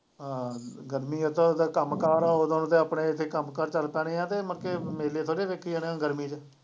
ਹਾਂ ਗਰਮੀ ਆ ਤਾਂ ਉਹਦਾ ਕੰਮ ਕਾਰ ਆ, ਉਦੋਂ ਤੇ ਆਪਣੇ ਇੱਥੇ ਕੰਮ ਕਾਰ ਚੱਲ ਪੈਣੇ ਆਂ ਤੇ ਮੁੜਕੇ ਮੇਲੇ ਥੋੜ੍ਹੇ ਵੇਖੀ ਜਾਣੇ ਆਂ ਗਰਮੀ ਚ।